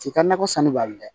T'i ka nakɔ sanni b'a la dɛ